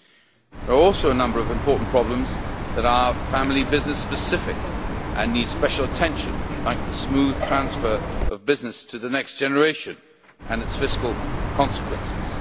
There are also a number of important problems that are family business specific and need special attention, like the smooth transfer of business to the next generation and its fiscal consequences.